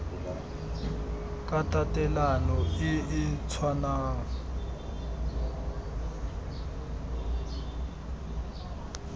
ka tatelano e e tshwanang